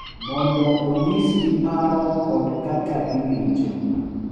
Mondo onyisgi paro kod kaka giwinjo,